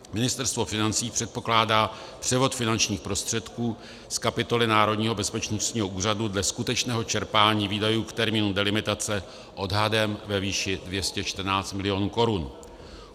Ministerstvo financí předpokládá převod finančních prostředků z kapitoly Národního bezpečnostního úřadu dle skutečného čerpání výdajů k termínu delimitace odhadem ve výši 214 milionů korun.